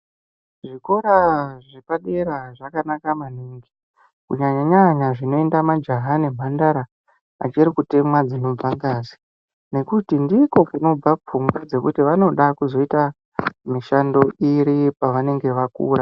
Zvikora zvepadera zvakanaka maningi kunyanya -nyanya zvinoenda majaha nemhandara achiri kutemwa dzinobva ngazi. Nekuti ndiko kunobva pfungwa dzekuti vanoda kuzoita mishando iri pavanonga vakura.